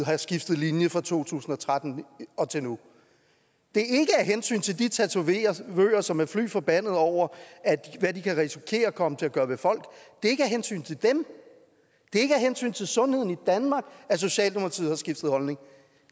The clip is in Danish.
har skiftet linje fra to tusind og tretten og til nu det er ikke af hensyn til de tatovører som er forbandet over hvad de kan risikere at komme til at gøre ved folk det er ikke af hensyn til dem det er ikke af hensyn til sundheden i danmark at socialdemokratiet har skiftet holdning